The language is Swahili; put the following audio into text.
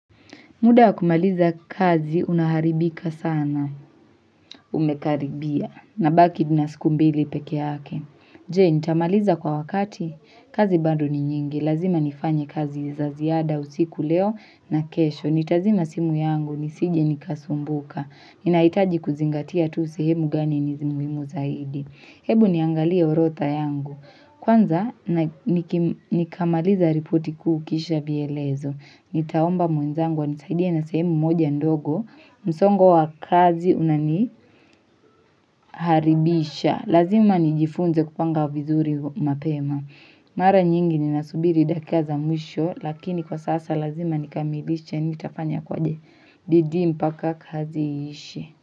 Muda wa kumaliza kazi unaharibika sana, umekaribia, nabaki nina siku mbili peke yake. Je, nitamaliza kwa wakati, kazi bado ni nyingi, lazima nifanye kazi za ziada usiku leo na kesho. Nitazima simu yangu, nisije nikasumbuka. Ninaitaji kuzingatia tu sehemu gani ni muhimu zaidi. Hebu niangalie urodha yangu. Kwanza, nikamaliza ripoti kuy kisha vielezo. Nitaomba mwenzangu anisaidie na sehemu moja ndogo msongo wa kazi unaniharibisha Lazima nijifunze kupanga vizuri mapema Mara nyingi ninasubiri dakika za mwisho Lakini kwa sasa lazima nikamilisha Nitafanya kwaje bidii mpaka kazi iishe.